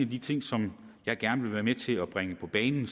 de ting som jeg gerne vil være med til at bringe på banen